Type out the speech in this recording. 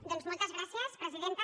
doncs moltes gràcies presidenta